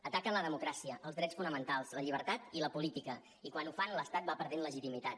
ataquen la democràcia els drets fonamentals la llibertat i la política i quan ho fan l’estat va perdent legitimitat